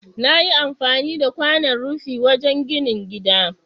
Nayi amfani da kwanan rufi wajan ginin gida